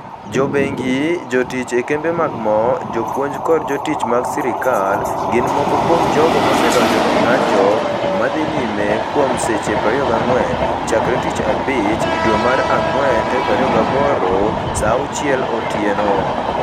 Jo bengi, jotich e kembe mag mo, jopuonj koda jotich mag sirkal, gin moko kuom jogo mosedonjo e ng'anjo ma dhi nyime kuom seche 24, chakre Tich Abich, dwe mara ngwen 28, saa auchiel otieno.